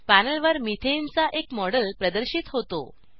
पॅनलवर methane चा एक model प्रदर्शित होतो